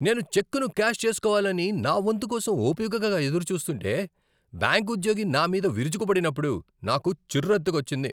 నేను చెక్కును క్యాష్ చేస్కోవాలని నా వంతు కోసం ఓపికగా ఎదురుచూస్తుంటే, బ్యాంక్ ఉద్యోగి నామీద విరుచుకుపడినప్పుడు నాకు చిరెత్తుకొచ్చింది.